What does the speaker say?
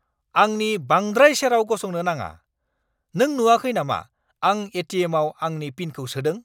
आंनि बांद्राइ सेराव गसंनो नाङा। नों नुआखै नामा आं ए.टि.एम.आव आंनि पिनखौ सोदों?